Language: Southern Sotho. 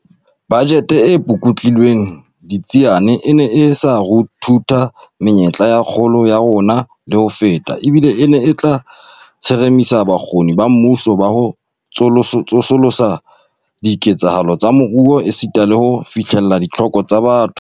Bajete e pukutlilweng ditsiane e ne e tla ruthutha menyetla ya kgolo ya rona le ho feta, ebile e ne e tla tsheremisa bokgoni ba mmuso ba ho tsosolosa diketsahalo tsa moruo esita le ho fihlella ditlhoko tsa batho.